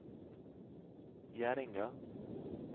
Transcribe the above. Gjerdinga